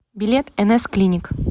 билет нс клиник